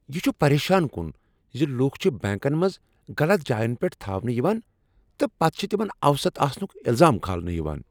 یہ چُھ پریشان کن زِ لوٗکھ چھِ بنٛکن منٛز غلط جاین پٮ۪ٹھ تھاونہٕ یوان تہٕ پتہٕ چُھ تِمن اوسط آسنُك الزام كھالنہٕ یوان ۔